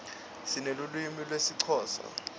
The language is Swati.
sinelulwimi lesixhosa